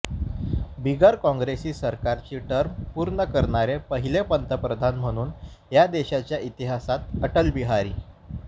बिगर काँग्रेसी सरकारची टर्म पूर्ण करणारे पहिले पंतप्रधान म्हणून या देशाच्या इतिहासात अटल बिहारी